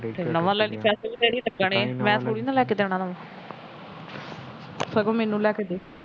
ਫਿਰ ਨਵਾ ਲੈ ਪੈੇਸੇ ਤਾਂ ਤੇਰੇ ਹੀ ਲੱਗਣੇ ਹੈ ਮੈ ਥੋੜੀ ਲਿਆ ਕੇ ਦੇਣਾ ਤੈਨੂੰ ਸਗੋ ਮੈਨੂੰ ਲਿਆ ਕੇ ਦੇ